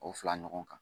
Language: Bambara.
O fila ɲɔgɔn kan